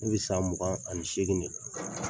bɛ san mugan ani seegin de la.